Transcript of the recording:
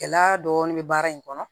Gɛlɛya dɔɔnin bɛ baara in kɔnɔ